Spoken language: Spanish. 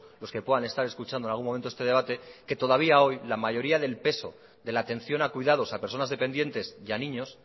los que puedan estar escuchando en algún momento este debate que todavía hoy la mayoría del peso de la atención a cuidados a personas dependientes y a niños